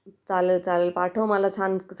चालेल चालेल..पाठव मला छान